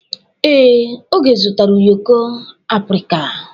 Ee, Oge zụtara ụyọkọ abirika.